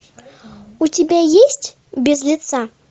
у тебя есть без лица